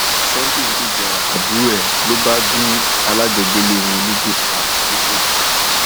sunday ń gbèjà um àbúrò ẹ ló bá gun alájọgbélé wọn nígò um pa lọsọdì